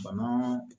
Bana